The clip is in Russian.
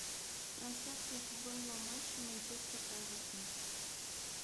трансляция футбольного матча манчестер эвертон